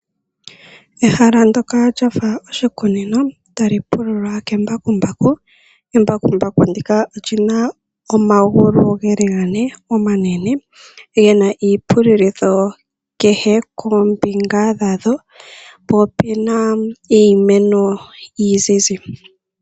Ehala ndoka lafa oshikunino tali pululwa ke mbakumbaku. Embakumbaku ndika olina oomagulu ga ne oomanene gena iipululitho kehe ko mbinga dhadho po opena iimeno iinzizi.